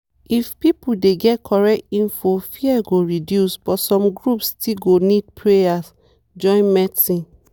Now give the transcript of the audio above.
if people dey get correct info fear go reduce but some groups still go need prayer join medicine.